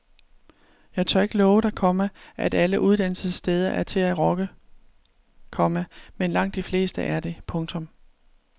Jeg tør ikke love dig, komma at alle uddannelsessteder er til at rokke, komma men langt de fleste er det. punktum